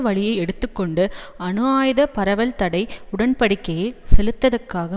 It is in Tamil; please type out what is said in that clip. வழியை எடுத்து கொண்டு அணு ஆயுத பரவல் தடை உடன்படிக்கையை செல்லத்தக்கதாக்க